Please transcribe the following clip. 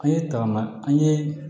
An ye tagama an ye